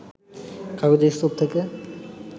কাগজের স্তূপ থেকে